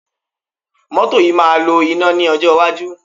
Cars will be run on electric power in the future